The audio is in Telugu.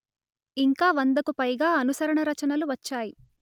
ఇంకా వందకు పైగా అనుసరణ రచనలు వచ్చాయి